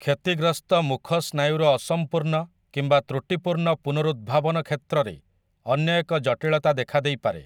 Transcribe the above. କ୍ଷତିଗ୍ରସ୍ତ ମୁଖ ସ୍ନାୟୁର ଅସମ୍ପୂର୍ଣ୍ଣ କିମ୍ବା ତ୍ରୁଟିପୂର୍ଣ୍ଣ ପୁନରୁଦ୍ଭାବନ କ୍ଷେତ୍ରରେ ଅନ୍ୟ ଏକ ଜଟିଳତା ଦେଖାଦେଇପାରେ ।